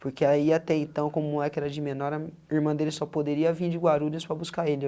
Porque aí até então, como o moleque era de menor, a irmã dele só poderia vir de Guarulhos para buscar ele.